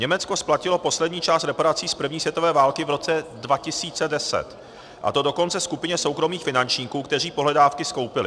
Německo splatilo poslední část reparací z první světové války v roce 2010, a to dokonce skupině soukromých finančníků, kteří pohledávky skoupili.